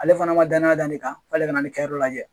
Ale fana ma danya da ne kan f'ale ka na ne kɛ yɔrɔ lajɛ